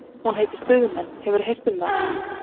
Hún heitir Stuðmenn, hefurðu heyrt um þá?